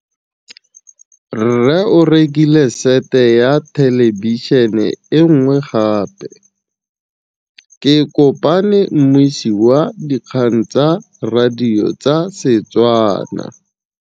Rre o rekile sete ya thêlêbišênê e nngwe gape. Ke kopane mmuisi w dikgang tsa radio tsa Setswana.